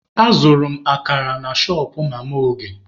Azụrụ m akara na shọpụ mama Oge.